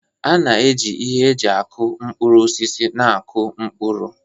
A na-eji ihe eji aku mkpụrụ osisi na-akụ mkpụrụ.